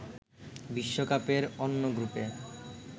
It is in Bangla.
বিশ্বকাপের অন্য গ্রুপে